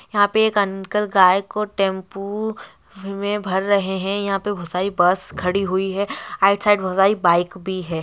यहां पे एक अंकल गायको टेंपू -उ-उ में भर रहे है यहां पे घुसाई बस खड़ी हुई है आ साइड घुसाई बाइक भी है।